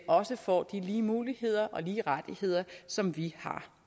også får de lige muligheder og lige rettigheder som vi har